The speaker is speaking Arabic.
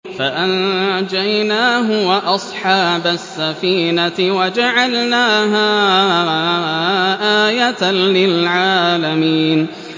فَأَنجَيْنَاهُ وَأَصْحَابَ السَّفِينَةِ وَجَعَلْنَاهَا آيَةً لِّلْعَالَمِينَ